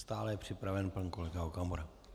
Stále je připraven pan kolega Okamura.